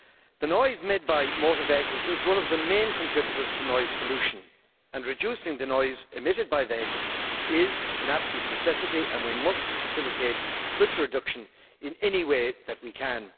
The noise made by motor vehicles is one of the main contributors to noise pollution reducing the noise emitted by vehicles is an absolute necessity and we must facilitate such a reduction in any way that we can.